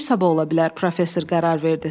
Döyüş sabah ola bilər, professor qərar verdi.